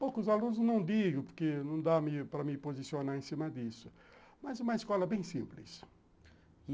Poucos alunos, não digo, porque não dá para me posicionar em cima disso, mas uma escola bem simples.